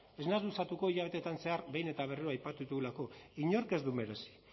ez naiz luzatuko hilabetetan zehar behin eta berriro aipatu ditugulako inork ez du merezi